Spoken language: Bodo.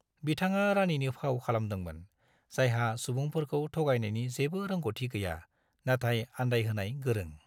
बिथाङा रानीनि फाव खालामदोंमोन, जायहा सुबुंफोरखौ थगायनायनि जेबो रोंग'थि गैया, नाथाय आन्दायहोनाय गोरों।